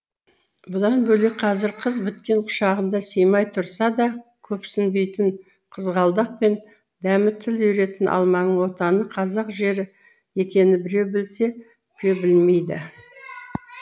бұдан бөлек қазір қыз біткен құшағына сыймай тұрса да көпсінбейтін қызғалдақ пен дәмі тіл үйіретін алманың отаны қазақ жері екенін біреу білсе біреу білмейді